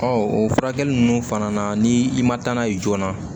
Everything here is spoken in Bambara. o furakɛli ninnu fana na ni i ma taa n'a ye joona